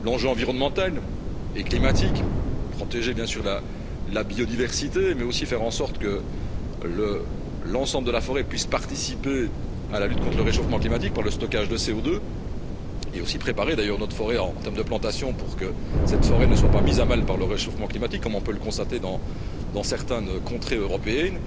Ensuite, l'enjeu environnemental et climatique, protéger bien sûr la biodiversité, mais aussi faire en sorte que l'ensemble de la forêt puisse participer à la lutte contre le réchauffement climatique par le stockage de CO2 et aussi préparer d'ailleurs notre forêt en termes de plantation pour que cette forêt ne soit pas mise à mal par le réchauffement climatique, comme on peut le constater dans certaines contrées européennes.